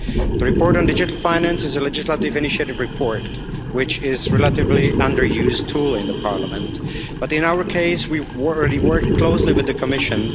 The report on digital finance is a legislative initiative report, which is a relatively underused tool in Parliament, but, in our case, we were already working closely with the Commission.